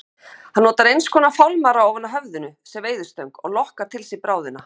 Hann notar einskonar fálmara ofan á höfðinu sem veiðistöng og lokkar til sín bráðina.